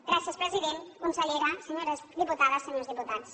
gràcies president consellera senyores diputades i senyors diputats